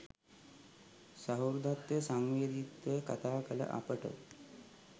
සහෘදත්වය සංවේදීත්වය කතා කළ අපට